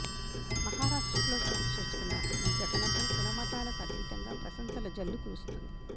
మహారాష్ట్రలో చోటు చేసుకున్న ఈ ఘటనపై కులమతాలకు అతీతంగా ప్రశంసల జల్లు కురుస్తోంది